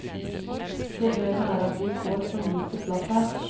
Problemet er at vi får for lite plass her.